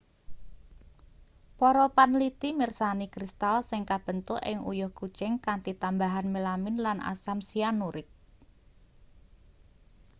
para panliti mirsani kristal sing kabentuk ing uyuh kucing kanthi tambahan melamin lan asam sianurik